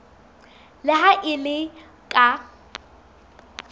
le ha e le ka